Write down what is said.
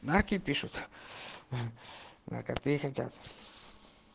знаки пишут в как хотят